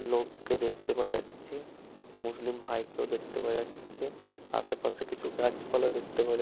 লোককে দেখতে পাওয়া যাচ্ছে মুসলিম ভাই কেও দেখতে পাওয়া যাচ্ছে আশেপাশে কিছু গাছপালা দেখতে পাওয়া যা --